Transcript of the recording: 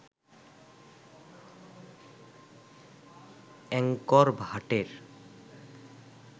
Angkor ভাটের